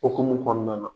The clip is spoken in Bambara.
Okumu kɔnɔna na